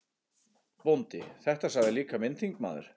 BÓNDI: Þetta sagði líka minn þingmaður